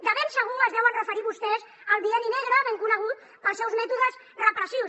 de ben segur es deuen referir vostès al bienni negre ben conegut pels seus mètodes repressius